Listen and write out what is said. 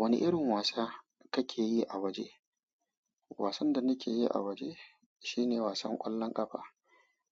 Wani irin wasa kake yi a waje? Wasan da nake yi a waje shine wasan ƙwallon ƙafa.